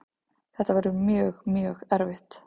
Þetta verður mjög, mjög erfitt.